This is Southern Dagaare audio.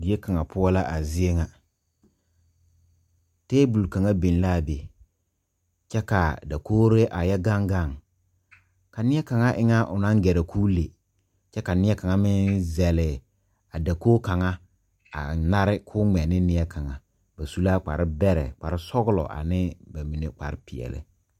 Die kaŋa poɔ la a zie ŋa tabol kaŋa biŋ laa be kyɛ kaa dakogre a yɛ gaŋ gaŋ ka nie kaŋa e ŋa o nang gɛrɛ koo le kyɛ ka nie kaŋa meŋ zɛle a dakoge kaŋa a nare koo ngmɛ ne nie kaŋa o su la kpare bɛrɛ kparesɔglɔ anee kparepeɛɛli.